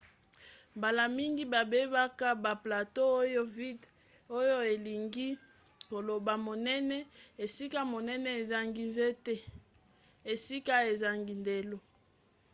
mbala mingi babengaka ba plateau oyo vidde oyo elingi koloba monene esika monene ezangi nzete esika ezangi ndelo